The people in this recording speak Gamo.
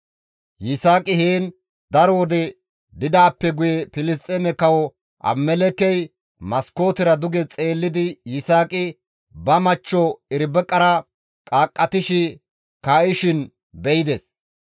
Yisaaqi heen daro wode didaappe guye Filisxeeme kawo Abimelekkey maskootera duge xeellidi Yisaaqi ba machcho Irbiqara idimettishe kaa7ishin be7ides.